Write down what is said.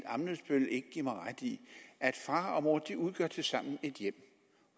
ammitzbøll ikke give mig ret i at far og mor tilsammen et hjem